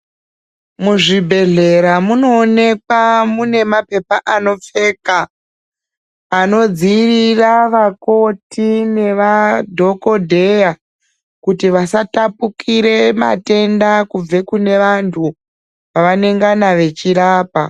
Muzvibhedhlera munoonekwa mune mapepa anopfeka anodziirira vakoti nemadhokodheya kuti vasatapukire matenda kubva kune vantu vavanongana veirapa.